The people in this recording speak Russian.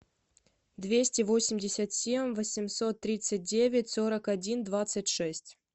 двести восемьдесят семь восемьсот тридцать девять сорок один двадцать шесть